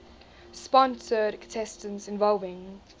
sponsored contests involving